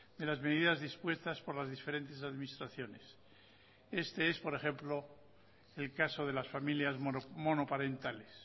de las medidas dispuestas por las diferentes administraciones este es por ejemplo el caso de las familias monoparentales